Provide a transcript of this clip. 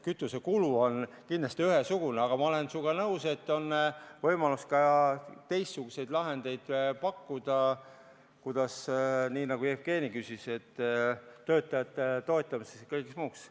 Kütusekulu on kindlasti ühesugune, aga ma olen sinuga nõus, et on võimalus ka teistsuguseid lahendeid pakkuda, nii nagu Jevgeni küsis, töötajate toetamiseks ja kõigeks muuks.